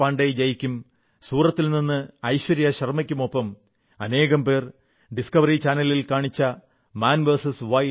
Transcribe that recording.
പാണ്ഡേയ് ജിയ്ക്കും സൂറത്തിൽ നിന്ന് ഐശ്വര്യാ ശർമ്മയ്ക്കുമൊപ്പം അനേകം പേർ ഡിസ്ക്കവറി ചാനലിൽ കാണിച്ച മാൻ വിഎസ്